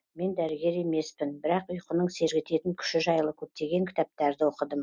мен дәрігер емеспін бірақ ұйқының сергітетін күші жайлы көптеген кітаптарды оқыдым